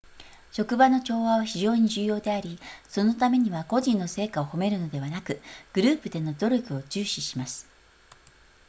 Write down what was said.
職場の調和は非常に重要でありそのためには個人の成果を褒めるのではなくグループでの努力を重視します